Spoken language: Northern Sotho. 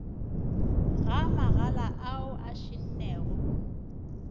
ga magala ao a šennego